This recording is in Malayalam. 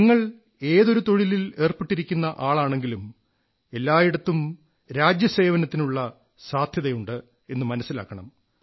നിങ്ങൾ ഏതൊരു തൊഴിലിൽ ഏർപ്പെട്ടിരിക്കുന്ന ആളാണെങ്കിലും എല്ലായിടത്തും രാജ്യസേവനത്തിനിള്ള സാധ്യത ഉണ്ട് എന്നു മനസ്സിലാക്കണം